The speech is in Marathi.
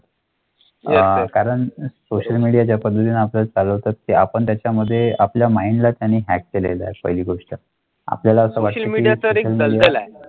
आह कारण सोशल मीडिया ज्‍या पड्‍तीला आपल्या चालतात ते आपण त्याच्यामध्ये आपल्या मैइंडला त्यानी ह्य़ाक केलेला आहे पाहिली गोष्ट.